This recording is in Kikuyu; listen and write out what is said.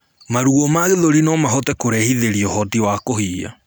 Maruo ma gĩthũri nomahote kurehithirĩa uhoti wa kuhihia